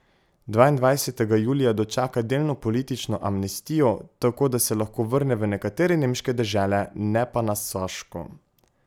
Dvaindvajsetega julija dočaka delno politično amnestijo, tako da se lahko vrne v nekatere nemške dežele, ne pa na Saško.